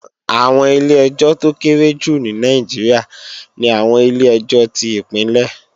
Àwọn ilé-ẹjọ́ tó kéré jù ní Nàìjíríà ni àwọn ilé-ẹjọ́ tí Ìpínlẹ̀